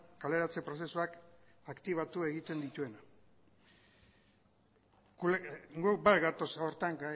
kaleratze prozesuak aktibatu egiten dituena guk bat gatoz horretan